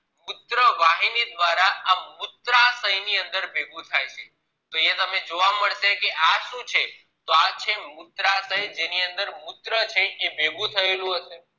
મુત્ર વાહિની દ્વારા આ મૂત્રાશય ની અંદર ભેગું થાય છે તો અહિયાં તમને જોવા મળશે કે આ શું છે તો આ છે મૂત્રાશય જેની અંદર મુત્ર છે એ ભેગું થયેલુ હશે